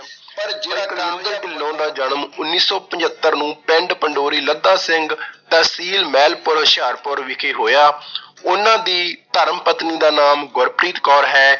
ਪਰ ਜਿਹੜਾ ਕੁਲਵਿੰਦਰ ਢਿੰਲੋਂ ਦਾ ਜਨਮ ਉਨੀ ਸੌ ਪਜੱਤਰ ਨੂੰ ਪਿੰਡ ਪੰਡੋਰੀ ਲੱਦਾ ਸਿੰਘ ਤਹਿਸੀਲ ਮਹਿਲਪੁਰ ਹੁਸ਼ਿਆਰਪੁਰ ਵਿਖੇ ਹੋਇਆ ਉਹਨਾਂ ਦੀ ਧਰਮਪਤਨੀ ਦਾ ਨਾਮ ਗੁਰਪ੍ਰੀਤ ਕੌਰ ਹੈ